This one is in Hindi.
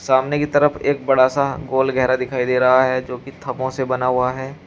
सामने की तरफ एक बड़ा सा गोल गहरा दिखाई दे रहा है जो की थमो से बना हुआ है।